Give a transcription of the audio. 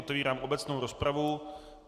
Otevírám obecnou rozpravu.